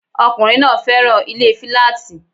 Ọkùnrin náà féràn ilé filaati